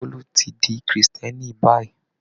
Bólú tí di Kírísítẹ́nì báyìí.